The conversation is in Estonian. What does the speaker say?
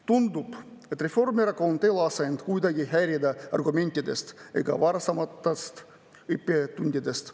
Tundub, et Reformierakond ei lase end kuidagi häirida argumentidest ega varasematest õppetundidest.